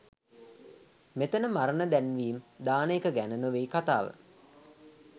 මෙතැන මරණ දැන්වීම් දාන එක ගැන නෙවෙයි කතාව.